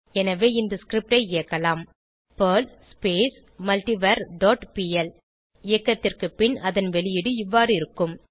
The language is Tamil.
எனவே இந்த ஸ்கிரிப்ட் ஐ இயக்கலாம் பெர்ல் மல்ட்டிவர் டாட் பிஎல் இயக்கத்திற்கு பின் அதன் வெளியீடு இவ்வாறு இருக்கும்